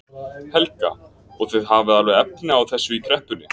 Helga: Og þið hafið alveg efni á þessu í kreppunni?